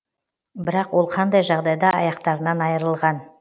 бірақ ол қандай жағдайда аяқтарынан айырылған